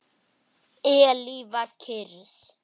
Eilífa kyrrð.